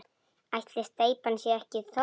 Ætli steypan sé ekki þornuð?